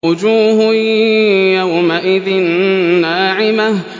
وُجُوهٌ يَوْمَئِذٍ نَّاعِمَةٌ